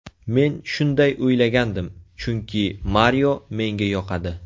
Men shunday o‘ylagandim, chunki Mario menga yoqadi.